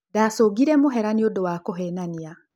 Ndacungire mũhera nĩũndũ wa kũhenania.